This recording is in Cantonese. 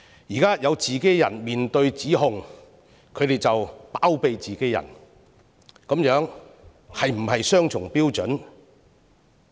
現在有自己人面對指控，他們便包庇自己人，這是否雙重標準？